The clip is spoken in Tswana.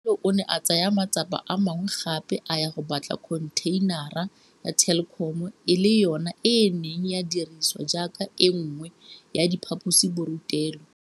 Ralo o ne a tsaya matsapa a mangwe gape a ya go batla khontheinara ya Telkom e le yona e neng ya dirisiwa jaaka e nngwe ya diphaposiborutelo.